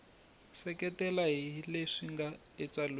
seketela hi leswi nga etsalweni